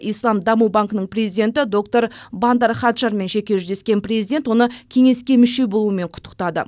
ислам даму банкінің президенті доктор бандар хаджармен жеке жүздескен президент оны кеңеске мүше болуымен құттықтады